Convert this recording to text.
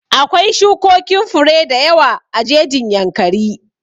Akwai shukokin fure da yawa a jejin Yankari